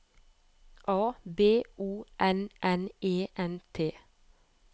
A B O N N E N T